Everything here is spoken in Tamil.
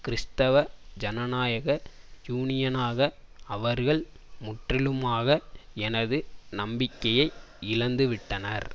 கிறிஸ்தவ ஜனநாயக யூனியனாக அவர்கள் முற்றிலுமாக எனது நம்பிக்கையை இழந்துவிட்டனர்